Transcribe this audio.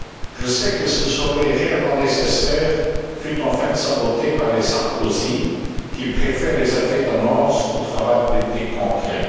Je sais que ce sommet réellement nécessaire fut en fait saboté par les Sarkozy, qui préfèrent les effets d'annonce au travail politique concret.